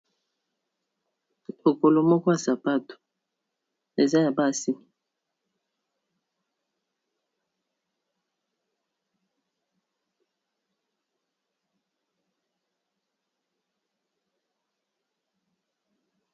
Lokolo moko ya sapato eza ya basi.